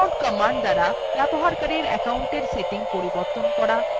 usermod command দ্বারা user account settings পরিবর্তন করা